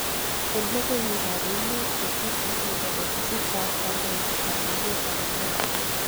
En logoiwek ab emet tovuti nebo ofisit tab kondoidet ab emetab America.